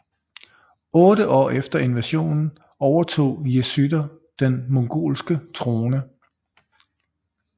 Otte år efter invasionen overtog Yesüder den mongolske trone